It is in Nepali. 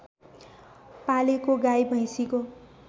पालेको गाई भैँसीको